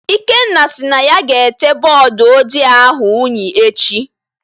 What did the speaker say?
Ikenna sị na ya ga-ete bọọdụ ojii ahụ unyi echi